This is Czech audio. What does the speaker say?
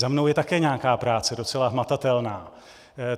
Za mnou je také nějaká práce, docela hmatatelná.